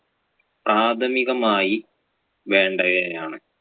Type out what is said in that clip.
പ്രാഥമികമായി വേണ്ടയവയാണ്.